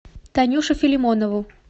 танюшу филимонову